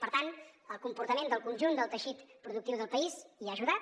per tant el comportament del conjunt del teixit productiu del país hi ha ajudat